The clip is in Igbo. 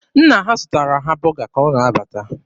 Nna ha zụtara ha bọga ka ọ na-abata.